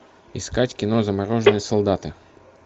искать кино замороженные солдаты